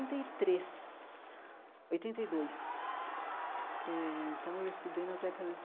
e três oitenta e dois eh então, eu estudei na década de